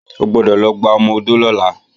O gbọ́dọ̀ lọ gba ọmọ-odó lọ́la!